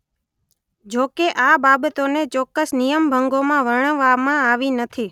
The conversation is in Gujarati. જોકે આ બાબતોને ચોક્કસ નિયમભંગોમાં વર્ણવવામાં આવી નથી.